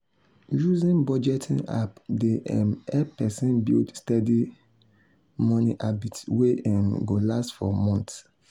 using budgeting app dey um help person build steady um money habit wey um go last for months.